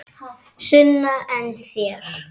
Sunna: En þér?